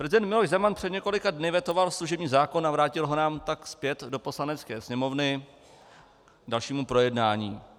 Prezident Miloš Zeman před několika dny vetoval služební zákon a vrátil nám ho tak zpět do Poslanecké sněmovny k dalšímu projednání.